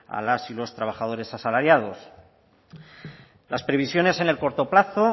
a las y los trabajadores asalariados las previsiones en el corto plazo